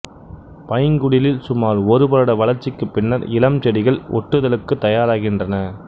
பைங்குடிலில் சுமார் ஒருவருட வளர்ச்சிக்குப் பின்னர் இளம் செடிகள் ஒட்டுதலுக்குத் தயாராகின்றன